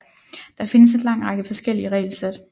Der findes en lang række forskellige regelsæt